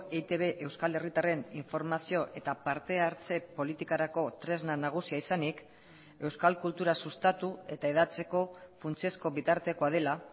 eitb euskal herritarren informazio eta parte hartze politikarako tresna nagusia izanik euskal kultura sustatu eta hedatzeko funtsezko bitartekoa dela